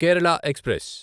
Kerala express